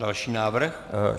Další návrh.